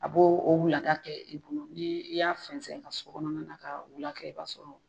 A bo o wulada kɛ i bolo ni i y'a fɛnzɛn i ka sokɔnɔna na ka wula kɛ i b'a sɔrɔ